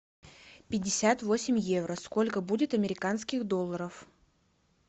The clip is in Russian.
пятьдесят восемь евро сколько будет американских долларов